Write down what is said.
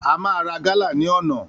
A máa ra gálà ní ọ̀nà